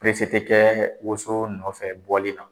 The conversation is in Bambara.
tɛ kɛ woso nɔfɛ bɔli la